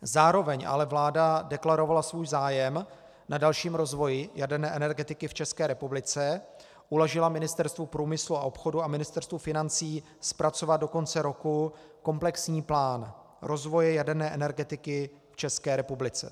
Zároveň ale vláda deklarovala svůj zájem na dalším rozvoji jaderné energetiky v České republice, uložila Ministerstvu průmyslu a obchodu a Ministerstvu financí zpracovat do konce roku komplexní plán rozvoje jaderné energetiky v České republice.